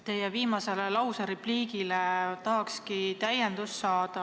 Teie viimasele repliigile tahakski täiendust saada.